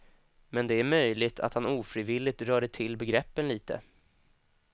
Men det är möjligt att han ofrivilligt rörde till begreppen lite.